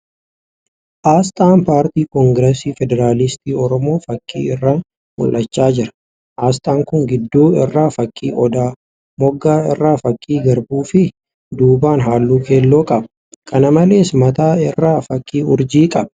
Asxaan paartii kongirasii federaalisti Oromoo fakkii irraa mul'achaa jira. Asxaan kun gidduu irraa fakkii odaa, moggaa irraa fakkii garbuu fi duubaan halluu keelloo qaba. Kana malees , mataa irraa fakkii urjii qaba.